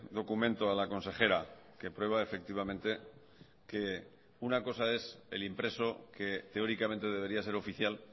documento a la consejera que prueba efectivamente que una cosa es el impreso que teóricamente debería ser oficial